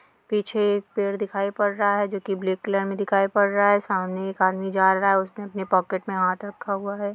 पीछे पेड़ दिखाई पड़ रहा है जो कि ब्लैक कलर में दिखाई पड़ रहा है। सामने एक आदमी जा रहा है उसने अपनी पॉकेट में हाथ रखा हुआ है।